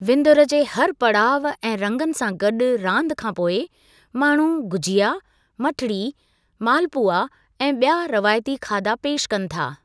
विंदुरु जे हर पड़ाउ ऐं रंगनि सां गॾु रांदि खां पोइ, माण्हू गुझिया, मठरी, मालपुआ ऐं ॿिया रवायती खाधा पेशि कनि था।